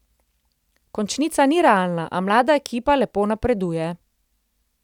Končnica ni realna, a mlada ekipa lepo napreduje.